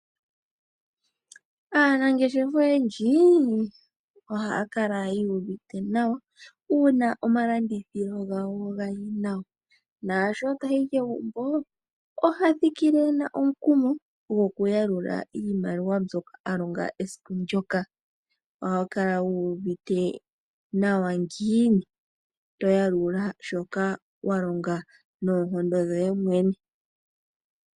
Aanangeshefa oyendji ohaya kala yuuvite nawa uuna omalandithilo gawo gayi nawa. Naasho tayi kegumbo ohathikile ena omukumo gokuyalula iimaliwa mbyoka a longa esiku ndyoka. Ohokala wuuvite nawa ngiini, toyalula shoka walonga noonkondo dhoye mwene.